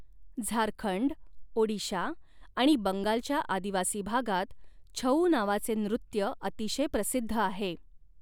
झारखंड, ओडिशा आणि बंगालच्या आदिवासी भागात छऊ नावाचे नृत्य अतिशय प्रसिद्ध आहे.